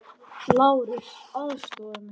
LÁRUS: Aðstoða mig!